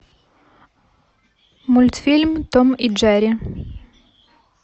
мультфильм том и джерри